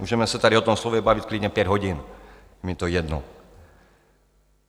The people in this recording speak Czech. Můžeme se tady o tom slově bavit klidně pět hodin, mi to jedno.